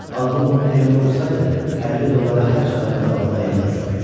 Ağlım yerində olsaydı, 50 dollara hər çatarın qabağında əyilməzdim.